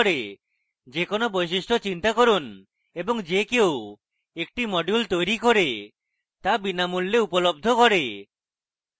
যে কোনো বৈশিষ্ট্য চিন্তা করুন এবং যে কেউ একটি module তৈরি করে তা বিনামূল্যে উপলব্ধ করে